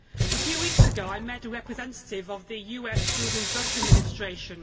A few weeks ago, I met a representative of the US Food and Drug Administration.